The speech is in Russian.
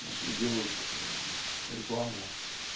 вот и делают рекламу